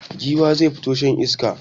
Giwa zai fito shan iska.